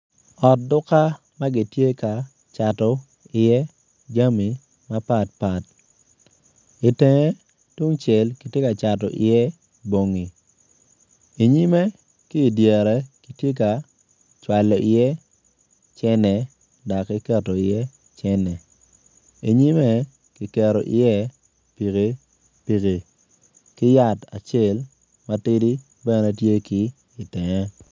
Ot duka ma gitye ka cato iye jami mapatpat itenge tungcel kitye ka cato iye bongi inyime ki idyere kitye ka cwalo iye cene dok ki keto iye cene inyime kiketo iye pikipiki ki yat acel yat matidi bene tye ki itenge.